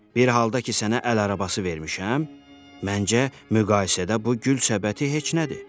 Bir halda ki, sənə əl arabası vermişəm, məncə, müqayisədə bu gül səbəti heç nədir.